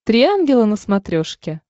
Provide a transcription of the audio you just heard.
три ангела на смотрешке